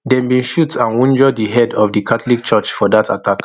dem bin shoot and wunjure di head of di catholic church for dat attack